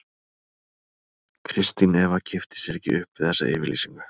Kristín Eva kippti sér ekki upp við þessa yfirlýsingu.